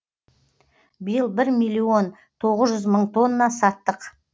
биыл бір миллион тоғыз жүз мың тонна саттық